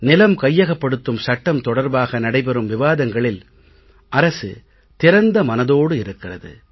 நிலம் கையகப்படுத்தும் சட்டம் தொடர்பாக நடைபெறும் விவாதங்களில் அரசு திறந்த மனதோடு இருக்கிறது